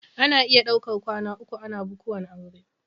Ana iya daukar kwana uku ana bukuwan aure.